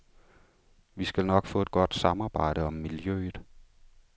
Vi skal nok få et godt samarbejde om miljøet.